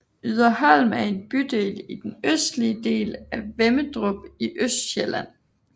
Yderholm er en bydel i den østligste del af Vemmedrup i Østsjælland